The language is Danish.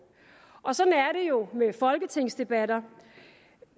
og sådan er det jo med folketingsdebatter